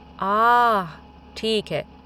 आह! ठीक है।